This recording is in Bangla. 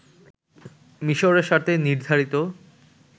মিশরের সাথে নির্ধারিত